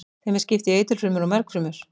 Þeim er skipt í eitilfrumur og mergfrumur.